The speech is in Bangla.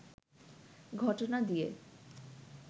ঘটনা দিয়ে